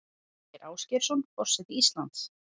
Ásgeir Ásgeirsson forseti Íslands